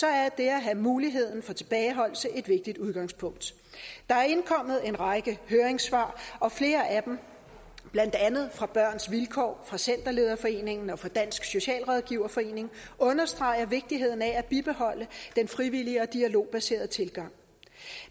er det at have muligheden for tilbageholdelse et vigtigt udgangspunkt der er indkommet en række høringssvar og flere af dem blandt andet fra børns vilkår fra centerlederforeningen og fra dansk socialrådgiverforening understreger vigtigheden af at bibeholde den frivillige og dialogbaserede tilgang